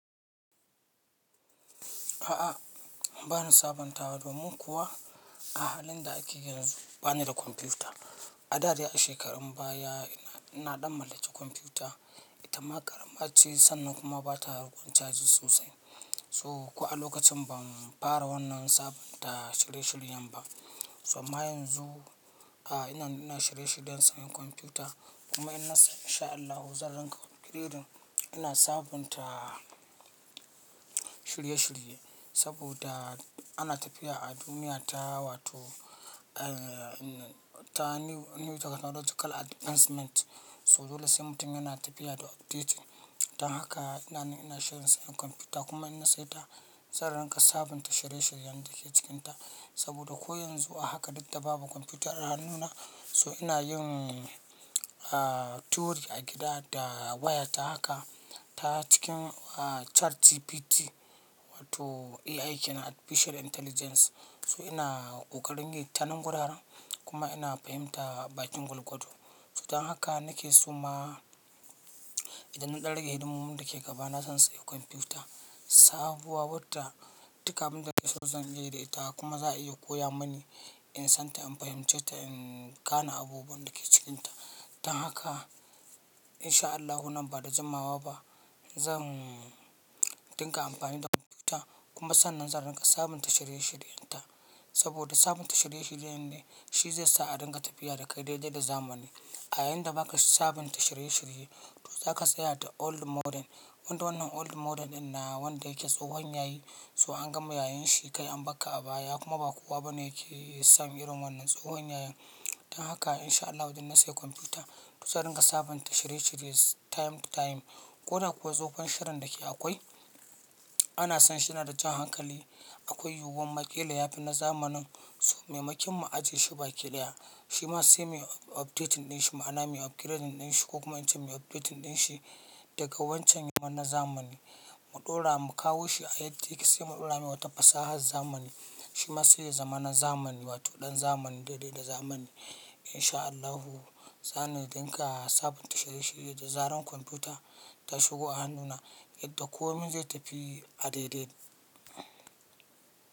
A'a, bani sabontawa domin kuwa a halin da ake yanzu bani da kwamfuta. A da dai a shekarun baya ina na ɗan mallaki kwamfuta. Ita ma ƙarama ce sannan kuma bata rikon caji sosai. So ko a lokacin ban fara wannan sabunta shirye-shiryen ba. So amman yanzu, a ina nan ina shirye-shiryen sayen kwamfuta kuma inna insha Allahu zan ringa upgiredin. Ina sabunta shirye-shirye saboda ana tafiya a duniya ta wato eh ta new new technological advancement. So dole sai mutum yana tafiya da update. Dan haka ina na ina shirin sayan kwamfuta kuma ina saye ta zan ringa sabunta shirye-shiryen da ke cikinta. Saboda ko yanzu a haka duk da babu kwamfuta a hannuna so ina yin aa theory a gida da waya ta haka ta cikin ah ChatGPT wato AI kenan Artipicial Intelligence. So ina kokarin yi ta nan guraren kuma ina pahimta bakin gwalgwaldo. So dan haka nake so ma idan na ɗan rage hidimomin da ke gaba na zan sayi kwamfuta. Sabuwa wata duk abin da nake so zan iya yi da ita kuma za a iya koya mani in san ta in fahimce ta in gane abubuwan da ke cikinta. Dan haka insha Allahu nan ba da jimawa ba zan dinga amfani da kwamfuta kuma sannan zan ringa sabunta shirye-shiryen ta. Saboda sabunta shirye-shirye ne shi zai sa a ringa tafiya da kai daidai da zamani. A yayinda baka sabunta shirye-shirye to zaka tsaya da old model. Wanda wannan old model din na wanda yake tsohon yayi so an gama yayen shi kai an bakka a baya kuma ba kowa bane yake samun irin wannan tsohon yayan. Dan haka insha Allahu idan na sayi kwamfuta to zan ringa sabunta shirye-shirye time to time. Ko da kuwa tsofon shirin da ke akwai ana sanshina da jan hankali. Akwai yuwuwar ma ƙila yafi na zamanin so maimakin mu ajiye shi bakilya. Shi ma sai muyi up-- updating din shi ma'ana mu upgradin shi ko kuma in ce mu updatin din shi daga wancan ya zama na zamani. Mu ɗora mu kawo shi a yadda yake sai mu ɗora mai wata fasahar zamani. Shi ma sai ya zama na zamani wato ɗan zamani daidai da zamani. Insha Allahu za ni ringa sabunta shirye-shirye da zarar kwamfuta ta shigo a hannuna yadda komai zai tafi a daidai.